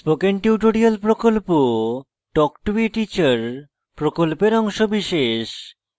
spoken tutorial প্রকল্প talk to a teacher প্রকল্পের অংশবিশেষ